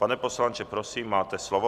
Pane poslanče, prosím, máte slovo.